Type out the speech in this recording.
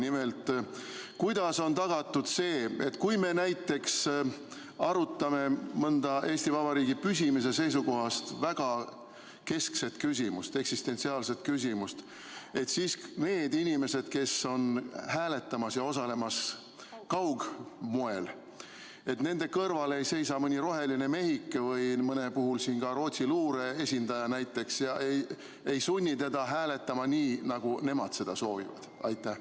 Nimelt, kuidas on tagatud see, et kui me näiteks arutame mõnda Eesti Vabariigi püsimise seisukohast keskset küsimust, eksistentsiaalset küsimust, siis nende inimeste kõrval, kes osalevad kaugistungi moel ja hakkavad hääletama, ei seisa mõni roheline mehike, mõne puhul näiteks Rootsi luure esindaja, kes võiks sundida teda hääletama nii, nagu nemad soovivad?